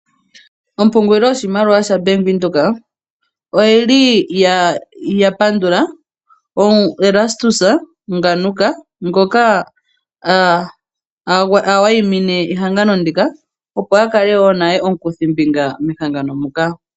Ompungulilo yoshimaliwa sha-Bank Windhoek, otayi pandula Erastus Ngaruka, ngoka awayimine ehangano ndika opo a kale wo omukuthimbinga mehangano ndika.